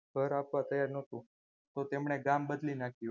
ઘર આપવા તૈયાર ન હતું તો તેણે ગામ બદલી નાખ્યું.